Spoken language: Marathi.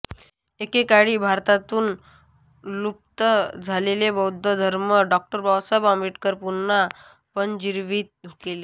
एकेकाळी भारतातून लूप्त झालेला बौद्ध धर्म डॉ बाबासाहेब आंबेडकरांनी पुन्हा पुनर्जीवीत केला